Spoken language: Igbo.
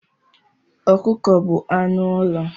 Ọkụkọ bu anụ ụlọ.